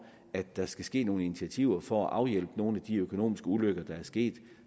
at der skal ske nogle initiativer for at afhjælpe nogle af de økonomiske ulykker der er sket